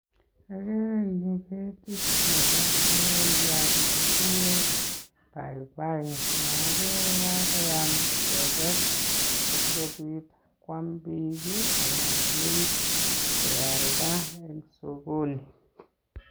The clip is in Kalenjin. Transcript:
Ogere en yu ketit nebo logoyat ne kiguure paipai agere kagoyam keges asi kobit koam biik anan keib kealda en sokoni.